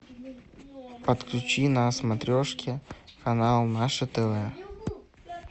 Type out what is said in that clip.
подключи на смотрешке канал наше тв